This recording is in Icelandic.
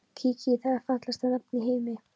Kiki, það er fallegasta nafn í heimi.